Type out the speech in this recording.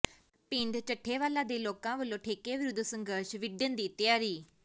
ਪਿੰਡ ਚੱਠੇਵਾਲਾ ਦੇ ਲੋਕਾਂ ਵੱਲੋਂ ਠੇਕੇ ਵਿਰੁੱਧ ਸੰਘਰਸ਼ ਵਿੱਢਣ ਦੀ ਤਿਆਰੀ